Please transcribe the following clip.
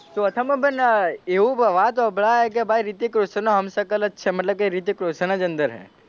ચોથામાં પણ એવું વાત હોભલાય કે ભાઈ રિતિક રોશનનો હમ સકલ છે મતલબ કે રિતિક રોશન છે અંદર,